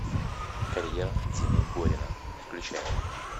карьера димы горина включай